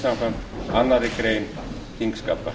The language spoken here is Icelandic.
samkvæmt annarri grein þingskapa